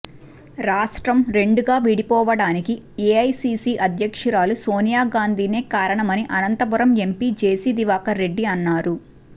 రాష్ట్రం రెండుగా విడిపోవడానికి ఎఐసిసి అధ్యక్షురాలు సోనియా గాంధినే కారణమని అనంతపురం ఎంపి జేసీ దివాకర్ రెడ్డి అన్నారు